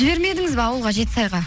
жібермедіңіз ба ауылға жетісайға